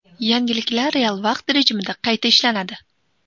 Yangiliklar real vaqt rejimida qayta ishlanadi.